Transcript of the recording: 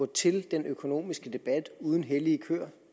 til den økonomiske debat uden hellige køer